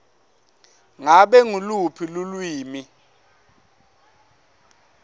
ngabe nguluphi lulwimi